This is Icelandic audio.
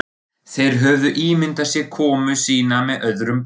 Þeir höfðu ímyndað sér komu sína með öðrum brag.